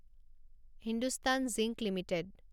Hindustan Zinc limited